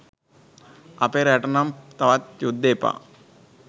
අපේ රටට නම් තවත් යුද්ධ එපා.